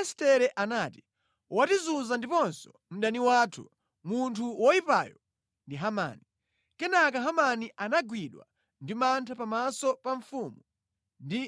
Estere anati, “Wotizunza ndiponso mdani wathu! Munthu woyipayo ndi Hamani.” Kenaka Hamani anagwidwa ndi mantha pamaso pa mfumu ndi